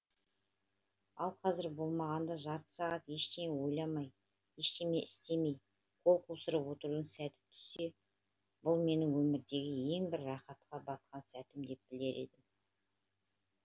ал қазір болмағанда жарты сағат ештеме ойламай ештеме істемей қол қусырып отырудың сәті түссе бұл менің өмірдегі ең бір рақатқа батқан сәтім деп білер едім